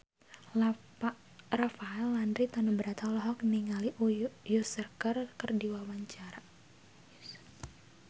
Rafael Landry Tanubrata olohok ningali Usher keur diwawancara